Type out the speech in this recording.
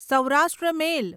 Saurashtra મેલ